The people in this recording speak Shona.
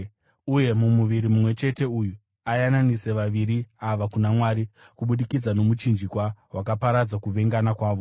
uye mumuviri mumwe chete uyu ayananise vaviri ava kuna Mwari kubudikidza nomuchinjikwa, wakaparadza kuvengana kwavo.